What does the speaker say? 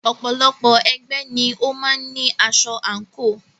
Ọ̀pọ̀lọpọ̀ ẹgbẹ́ ni ó máa ń ní aṣọ àǹkò.